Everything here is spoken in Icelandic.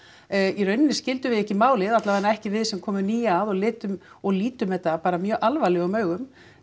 í rauninni skildum við ekki málið alla vega ekki við sem komum ný að og lítum og lítum þetta bara mjög alvarlegum augum